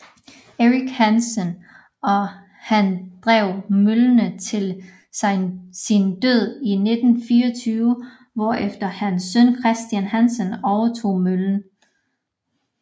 Erik Hansen og han drev møllen til sin død i 1924 hvorefter hans søn Christian Hansen overtog møllen